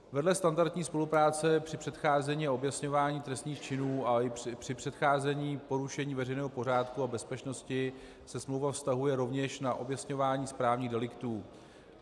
Vedle standardní spolupráce při předcházení a objasňování trestných činů a i při předcházení porušení veřejného pořádku a bezpečnosti se smlouva vztahuje rovněž na objasňování správních deliktů.